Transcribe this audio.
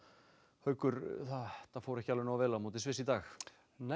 haukur þetta fór ekki nógu vel á móti Sviss í dag nei